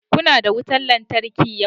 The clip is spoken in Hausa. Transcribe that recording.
Kuna da wutan lantarki yau?